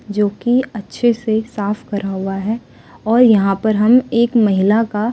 जो की अच्छे से साफ कर हुआ है और यहां पर हम एक महिला का--